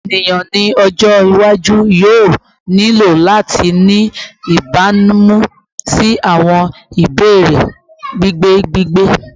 Eniyan ni ọjọ iwaju yoo nilo lati ni ibamu si awọn ibeere gbigbe gbigbe